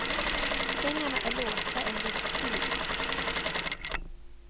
Pengarna är låsta en viss tid.